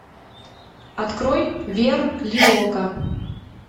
открой верлиока